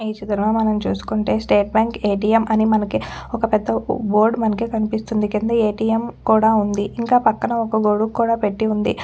ఈ చిత్రం లో మనం చూసుకుంటే స్టేట్ బ్యాంక్ ఎ.టీ.ఎం అని మనకు ఒక్క పెద్ద బోర్డు మన్నికి కన్పిస్తుంది కింద ఎ.టీ.ఎం కూడా ఉంది ఇంక పక్కన ఒక్క గొడుగు కూడా పెట్టి ఉంది .